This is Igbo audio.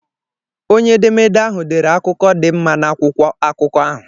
Onye edemede ahụ dere akụkọ dị mma n'akwụkwọ akụkọ ahụ.